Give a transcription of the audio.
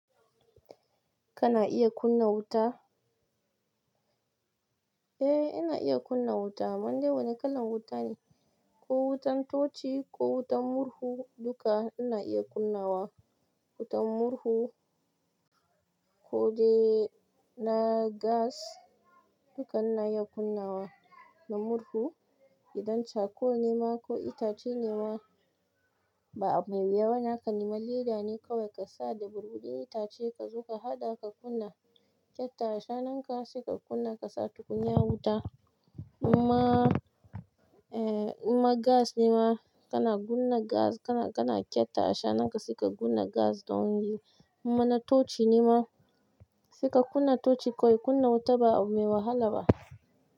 Kana iya kunna wuta? Eh, ina iya kunna wuta. Kaman dai wane kalan wuta ne? Ko wutan tochi ko wutan murhu duka ina iya kunnawa. Wutan murhu, kodai na gas, duka ina iya kunnawa, na murhu idan charcoal ne ma ko itace ne ma ba abu mai. Wannan ka nema leda ne kawai ƙasa da burbuɗin itace kazo ka haɗa ka kunna kyatta ashanka saika kunna kasa tukunya wuta. Kuma, eh, in ma gas ne ma kana gunna gas kana, kana kyatta ashana nanka saika gunna gas don yi, in ma na tochi ne ma saika kunna tochi kawai kunna wuta ba abu mai wahala ba.